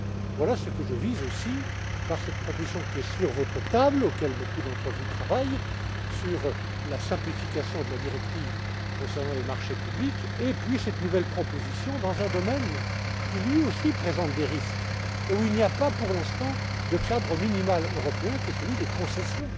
Voilà ce que je vise, aussi, par le biais de cette proposition, qui est sur votre table et à laquelle beaucoup d'entre vous travaillent, sur la simplification de la directive concernant les marchés publics et puis de cette nouvelle proposition dans un domaine qui, lui aussi, présente des risques et où il n'y a pas, pour l'instant, de cadre minimal européen, qui est celui des concessions.